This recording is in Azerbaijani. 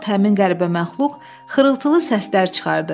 Bu vaxt həmin qəribə məxluq xırıltılı səslər çıxardı.